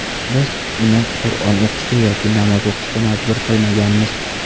Biz uni Qur’on o‘qishga yoki namoz o‘qishga majbur qilmaganmiz.